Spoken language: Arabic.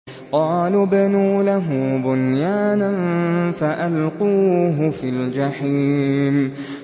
قَالُوا ابْنُوا لَهُ بُنْيَانًا فَأَلْقُوهُ فِي الْجَحِيمِ